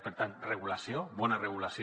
per tant regulació bona regulació